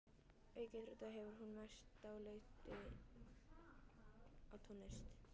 Auk íþrótta hefur hún mest dálæti á tónlist.